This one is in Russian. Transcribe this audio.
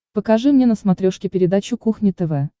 покажи мне на смотрешке передачу кухня тв